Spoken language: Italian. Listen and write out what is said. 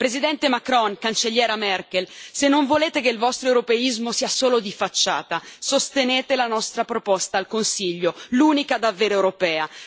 Presidente Macron, Cancelliera Merkel, se non volete che il vostro europeismo sia solo di facciata, sostenete la nostra proposta al Consiglio, l'unica davvero europea.